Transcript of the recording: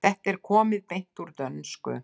Þetta er komið beint úr dönsku.